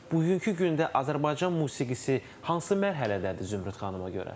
Bugünkü gündə Azərbaycan musiqisi hansı mərhələdədir Zümrüd xanıma görə?